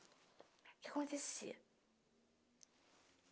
O que que acontecia?